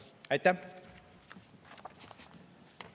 Aitäh!